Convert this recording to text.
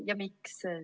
Ja miks?